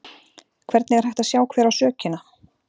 Hvernig er hægt að sjá hver á sökina?